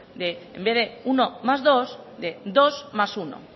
en vez de uno más dos de dos más uno